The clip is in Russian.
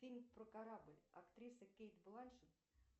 фильм про корабль актриса кейт бланшет